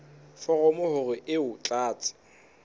foromo hore o e tlatse